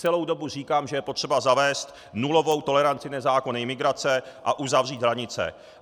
Celou dobu říkám, že je potřeba zavést nulovou toleranci nezákonné imigrace a uzavřít hranice.